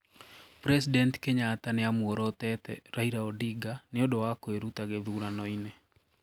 President Kenyatta niamũorotete Raila Odinga ñĩũndũ wa kuiruta githuranoini.